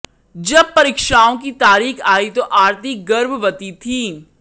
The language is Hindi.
जब परीक्षाओं की तारीख आई तो आरती गर्भवती थी